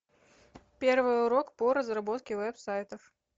первый урок по разработке веб сайтов